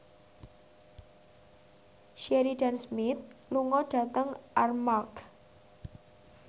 Sheridan Smith lunga dhateng Armargh